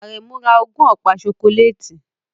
Aremu ra ogún ọ̀pá ṣokoléètì